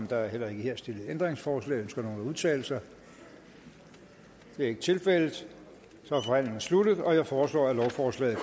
der er heller ikke her stillet ændringsforslag ønsker nogen at udtale sig det er ikke tilfældet så er forhandlingen sluttet jeg forslår at lovforslaget